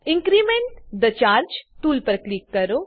increment the charge tool પર click કરો